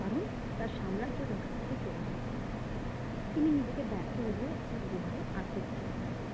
কারণ তার সাম্রাজ্য তার কাছ থেকে চলে গিয়েছিল তিনি নিজেকে ব্যার্থ ভেবে একটা গুহায় আত্মগোপন করেছিল